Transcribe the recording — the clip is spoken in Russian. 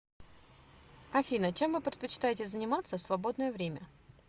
афина чем вы предпочитаете заниматься в свободное время